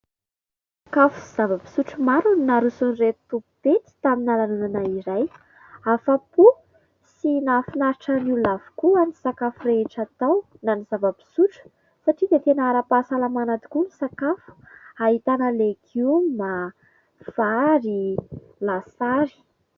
Sakafo sy zava-pisotro maro no naroson'ireto tompo-pety tamina lanonana iray, afa-po sy nahafinaritran'ny olona avokoa ny sakafo rehetra tao na ny zava-pisotro satria dia tena ara-pahasalamana tokoa ny sakafo, nahitana legioma, vary, lasary.